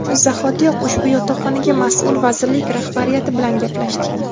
Shu zahotiyoq ushbu yotoqxonaga mas’ul vazirlik rahbariyati bilan gaplashdik.